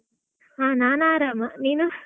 ಹಾ ನಾನ್ ಆರಾಮ, ನೀನು?